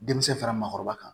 Denmisɛn fara maakɔrɔba kan